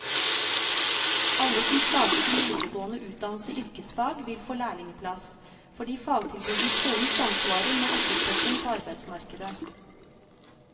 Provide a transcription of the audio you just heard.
Alle som starter sin videregående utdannelse i yrkesfag, vil få lærlingeplass, fordi fagtilbudet i skolen samsvarer med etterspørselen på arbeidsmarkedet.